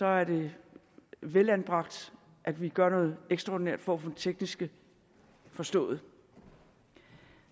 er det velanbragt at vi gør noget ekstraordinært for at få det tekniske forstået